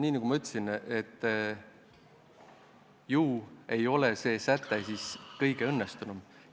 Nii nagu ma juba ütlesin, ju ei ole see säte siis kõige õnnestunum.